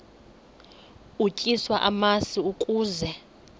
utyiswa namasi ukaze